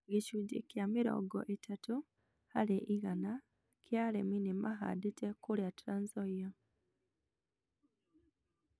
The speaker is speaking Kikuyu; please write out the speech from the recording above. Gicunjĩ kia mĩrongo ĩtatũ harĩ igana kĩa arĩmi nĩ mahandĩte kũria Trans Nzoia